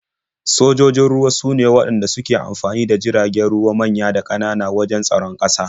Sojojin ruwa sune waɗanda suke amfani da jiragen ruwa manya da ƙanana wajen tsaron ƙasa.